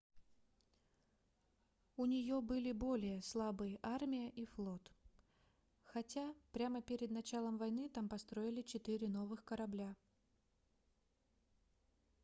у нее были более слабые армия и флот хотя прямо перед началом войны там построили четыре новых корабля